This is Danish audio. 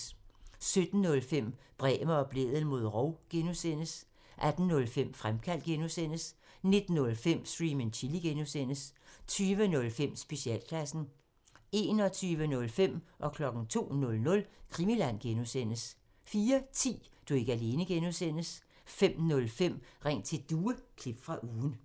17:05: Bremer og Blædel mod rov (G) 18:05: Fremkaldt (G) 19:05: Stream and Chill (G) 20:05: Specialklassen 21:05: Krimiland (G) 02:00: Krimiland (G) 04:10: Du er ikke alene (G) 05:05: Ring til Due – klip fra ugen